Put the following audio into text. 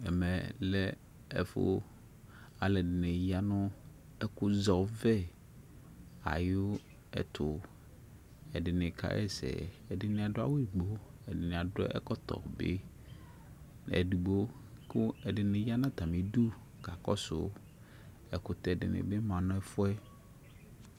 Ɛmɛ lɛ ɛfu alu ɛdini ya nu ɛku zɛ ɔvɛ ayu ɛtu edini kaɣa ɛsɛ ɛdini adu awu gblo edini adu ɛkɔtɔ be edigbo ku ɛdini ya nu atamidu kakɔsu ɛkutɛ dini bi ma nu ɛfu yɛ